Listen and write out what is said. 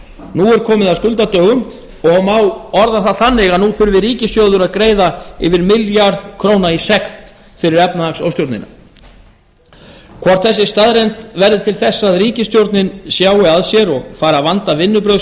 nú er komið að skuldadögum og nú má orða það þannig að nú þurfi ríkissjóður að greiða yfir milljarð króna í sekt fyrir efnahagsóstjórnina hvort þessi staðreynd verður til þess að ríkisstjórnin sjái að sér og fari að vanda vinnubrögð